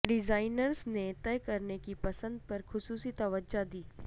designers نے طے کرنے کی پسند پر خصوصی توجہ دی